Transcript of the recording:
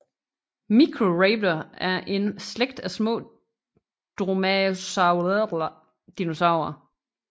Microraptor er en slægt af små dromaeosauride dinosaurer